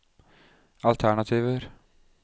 alternativer